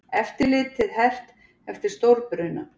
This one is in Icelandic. Eftirlitið hert eftir stórbruna